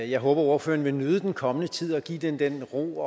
jeg håber ordføreren vil nyde den kommende tid og give det den ro